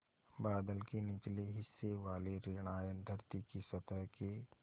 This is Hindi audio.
बादल के निचले हिस्से वाले ॠण आयन धरती की सतह के